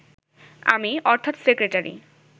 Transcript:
আমি, অর্থাৎ সেক্রেটারি